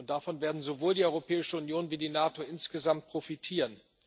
Davon werden sowohl die Europäische Union als auch die NATO insgesamt profitieren.